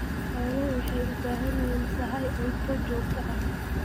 Xooluhu waxay u baahan yihiin sahay cunto joogto ah.